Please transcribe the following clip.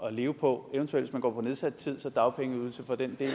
at leve på eventuelt hvis man går på nedsat tid så dagpengeydelse for den del